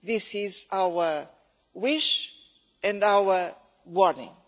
This is our wish and our warning.